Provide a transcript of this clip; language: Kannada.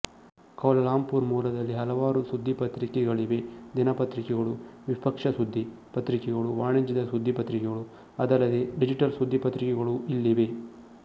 ಕೌಲಾಲಂಪುರ್ ಮೂಲದಲ್ಲಿ ಹಲವಾರು ಸುದ್ದಿಪತ್ರಿಕೆಗಳಿವೆದಿನಪತ್ರಿಕೆಗಳುವಿಪಕ್ಷ ಸುದ್ದಿ ಪತ್ರಿಕೆಗಳುವಾಣಿಜ್ಯದ ಸುದ್ದಿ ಪತ್ರಿಕೆಗಳುಅದಲ್ಲದೇ ಡಿಜಿಟಲ್ ಸುದ್ದಿ ಪತ್ರಿಕೆಗಳೂ ಇಲ್ಲಿವೆ